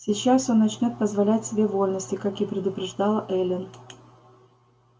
сейчас он начнёт позволять себе вольности как и предупреждала эллин